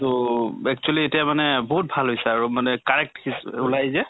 তহ actually এতিয়া মানে বহুত ভাল হৈছে আৰু মানে correct ওলায় যে